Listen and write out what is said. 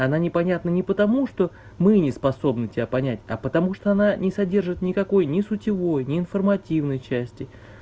она непонятно не потому что мы неспособны тебя понять а потому что она не содержит никакой не сутевой ни информативной части